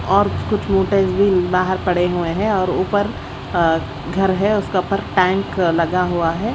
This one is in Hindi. और कुछ मोटर्स भी बाहर पड़े हुए हैं और ऊपर अ घर है उसका ऊपर टैंक लगा हुआ है।